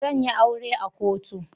Zan yi aure a kotu.